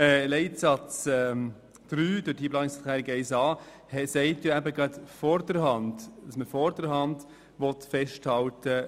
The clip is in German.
Die Planungserklärung 1a zu Leitsatz 3 besagt, dass man vorderhand an der Freiwilligkeit festhält.